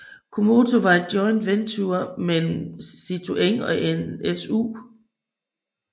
Comotor var et joint venture mellem Citroën og NSU